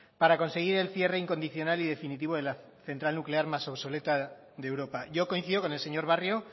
para conseguir el cierre incondicional y definitivo de la central nuclear más obsoleta de europa yo coincido con el señor barrio